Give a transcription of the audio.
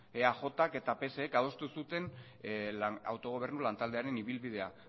eajk eta psek adostu zuten autogobernu lantaldearen ibilbidea